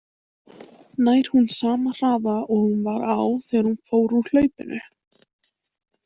Nær hún sama hraða og hún var á þegar hún fór úr hlaupinu?